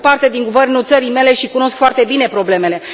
Am făcut parte din guvernul țării mele și cunosc foarte bine problemele.